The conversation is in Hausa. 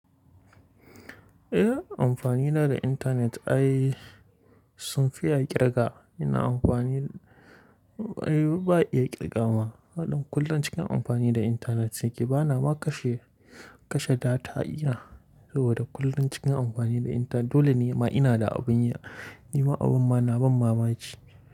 Eh amfani na da internet ai sun fi a ƙirga ina amfani, ai ba iya ƙirga wa. Haɗin kullun cikin amfani da internet nike bana ma kashe, kashe data ina saboda kullun cikin amfani da internet dole ne ma ina da abin yi, nima abin ma na bani mamaki.